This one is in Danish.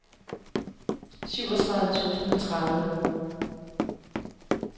syvogtredive tusind og tredive